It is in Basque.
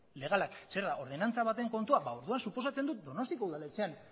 legalak zer da ordenantza baten kontua ba orduan suposatzen dut donostiako udaletxean